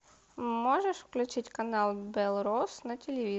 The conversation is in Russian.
можешь включить канал белрос на телевизоре